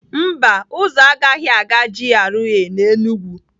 Mba, ụzọ a agaghị aga GRA na Enugwu.